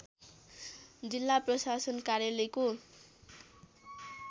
जिल्ला प्रशासन कार्यालयको